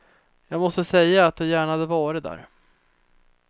Jag måste säga att jag gärna hade varit där.